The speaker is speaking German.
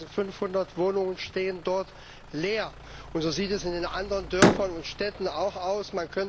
5500 Wohnungen stehen dort leer, und so sieht es in anderen Dörfern und Städten auch aus.